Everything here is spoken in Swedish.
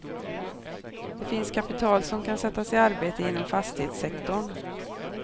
Det finns kapital som kan sättas i arbete inom fastighetssektorn.